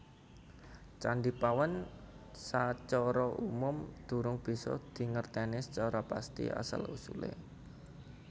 Candhi Pawon sacara umum durung bisa digerteni sacara pasti asal usulé